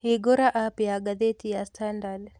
hĩngura app ya gathĩĩti ya standard